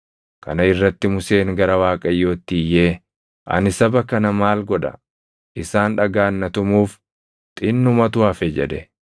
Kana irratti Museen gara Waaqayyootti iyyee, “Ani saba kana maal godha? Isaan dhagaan na tumuuf xinnumatu hafe” jedhe.